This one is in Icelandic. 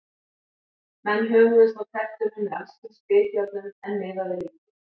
Menn hömuðust á tertunum með alls kyns bitjárnum, en miðaði lítið.